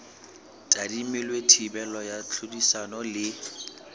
tadimilwe thibelo ya tlhodisano le